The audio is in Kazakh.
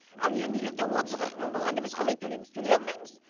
ал енді ертең отыз қырық мың болғанда біз қалай төлейміз төлей алмаймыз